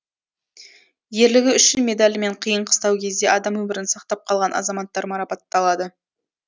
ерлігі үшін медалімен қиын қыстау кезде адам өмірін сақтап қалған азаматтар марапатталады